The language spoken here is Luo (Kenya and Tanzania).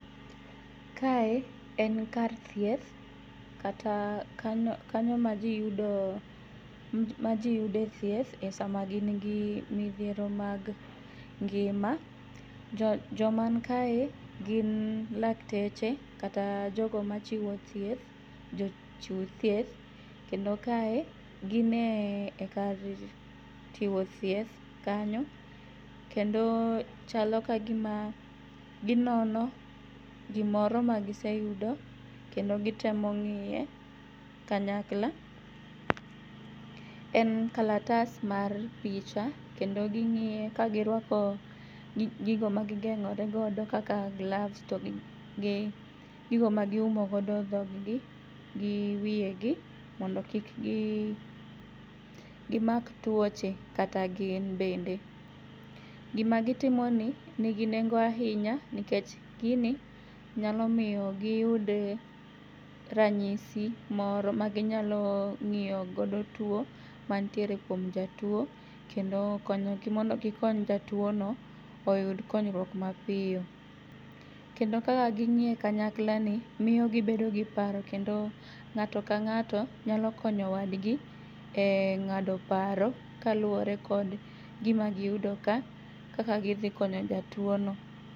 Kae en kar thieth kata kano kanyo ma jii yudo ma jii yude thieth e sama gin gi midhiero mag ngima . Jo joman kae gin lakteche kata jogo machiwo thieth jochiw thieth. Kendo kae gine kar chiwo thieth kanyo kendo chalo ka gima ginono gimoro ma giseyudo kendo gitemo ng'iye kanyakla. En kalatas mar picha kendo ging'iye ka girwako gigo ma gigeng'ore godo kaka gloves to gi gi gigo ma giumo go dhogi gi wiye gi mondo kik gi gimak tuoche kata gin bende. Gima gitimo ni nigi nengo ahinya nikech gini nyalo miyo giyud ranyisi moro ma ginyalo ng'iyo godo tuo mantiere kuom jatuo kendo konyo gi mondo gikony jatuo no oyud konyruok ma piyo. Kendo kaka ging'iye kanyakl amoiyo gibedo gi paro kendo ng'ato ka ng'ato nyalo konyo wadgi e ng'ado paro kaluwore gi gima giyudo ka kaka gidhi konyo jatuo no.